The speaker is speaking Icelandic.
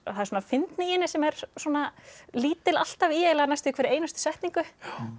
það er fyndni í henni sem er lítil alltaf eiginlega í næstum hverri einustu setningu